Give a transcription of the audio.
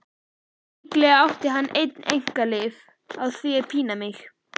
Líklega átti hann einn einkaleyfi á því að pína mig.